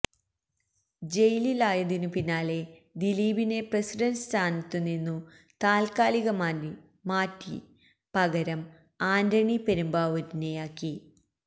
ജയിലിലായതിനു പിന്നാലെ ദിലീപിനെ പ്രസിഡന്റ് സ്ഥാനത്തുനിന്നു താൽക്കാലികമായി മാറ്റി പകരം ആന്റണി പെരുമ്പാവൂരിനെയാക്കി